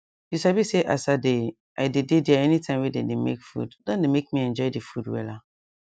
you sabi say as i dey i dey dey there anytime wey dem dey make food don dey make me enjoy the food wella